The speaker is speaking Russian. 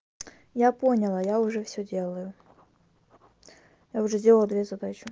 я поняла я уже всё делаю я уже сделала две задачи